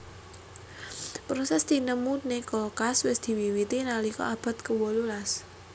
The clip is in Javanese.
Proses tinemuné kulkas wis diwiwiti nalika abad kewolu las